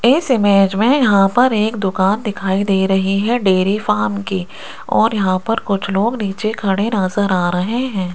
इस इमेज में यहां पर एक दुकान दिखाई दे रही है डेरी फार्म की और यहां पर कुछ लोग नीचे खड़े नजर आ रहे हैं।